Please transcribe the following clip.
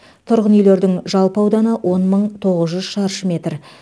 тұрғын үйлердің жалпы ауданы он мың тоғыз жүз шаршы метр